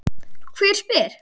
Hver spyr?